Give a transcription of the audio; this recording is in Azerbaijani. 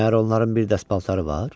Məyər onların bir dəst paltarı var?